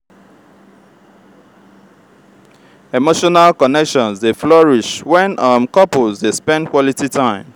emotional connections dey flourish when um couples dey spend quality time.